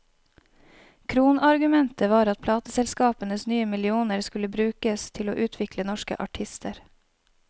Kronargumentet var at plateselskapenes nye millioner skulle brukes til å utvikle norske artister.